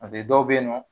A bɛ dɔw bɛ yen nɔ